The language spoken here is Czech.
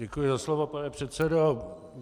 Děkuji za slovo, pane předsedo.